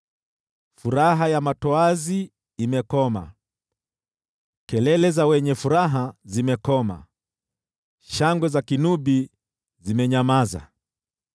Furaha ya matoazi imekoma, kelele za wenye furaha zimekoma, shangwe za kinubi zimenyamaza.